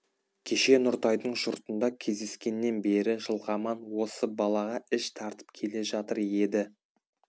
кеше нұртайдың жұртында кездескеннен бері жылқаман осы балаға іш тартып келе жатыр еді